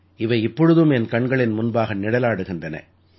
இவை இப்பொழுதும் என் கண்களின் முன்பாக நிழலாடுகின்றன